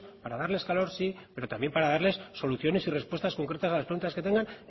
para darles calor sí pero también para darles soluciones y respuestas concretas a las preguntas que tengan